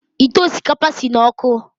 Ite osikapa si n’ọkụ